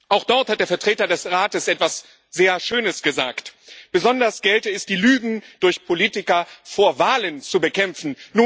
Auch dort hat der Vertreter des Rates etwas sehr Schönes gesagt Besonders gelte es, die Lügen durch Politiker vor Wahlen zu bekämpfen.